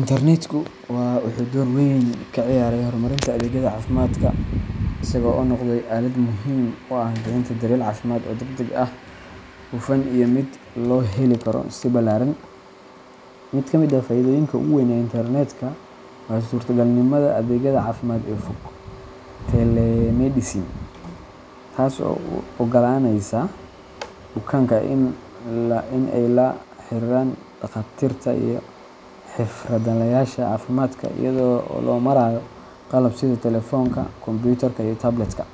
Internetku wuxuu door weyn ka ciyaaray horumarinta adeegyada caafimaadka, isaga oo noqday aalad muhiim u ah bixinta daryeel caafimaad oo degdeg ah, hufan, iyo mid loo heli karo si ballaaran. Mid ka mid ah faa’iidooyinka ugu weyn ee internetka waa suurtagalnimada adeegyada caafimaad ee fog telemedicine, taasoo u oggolaanaysa bukaanka in ay la xiriiraan dhakhaatiirta iyo xirfadlayaasha caafimaadka iyada oo loo marayo qalab sida telefoonka, kombiyuutarka ama tablet-ka.